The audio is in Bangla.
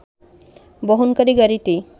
বহনকারী গাড়িটি